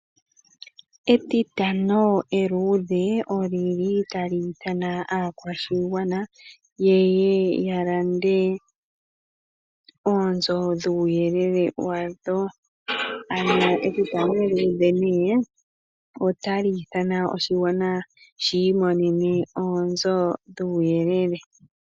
Etitano eluudhe oli li tali ithana aakwashigwana ye ye ya lande oonzo dhuuyelele wadho, ano etitano eeluudhe nee otali ithana oshigwana shii monene oonzo dhuuyelele.